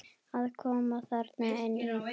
Að koma þarna inn í?